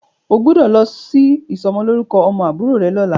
O gbọ́dọ̀ lọ sí ìsọmọlórúkọ ọmọ àbúrò rẹ lọ́la.